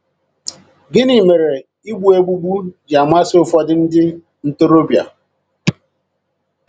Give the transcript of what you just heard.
Gịnị mere igbu egbugbu ji amasị ụfọdụ ndị ntorobịa?